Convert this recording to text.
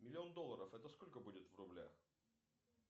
миллион долларов это сколько будет в рублях